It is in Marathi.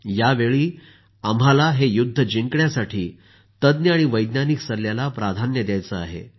यावेळी आम्हाला हे युद्ध जिंकण्यासाठी तज्ज्ञ आणि वैज्ञानिक सल्ल्याला प्राधान्य द्यायचं आहे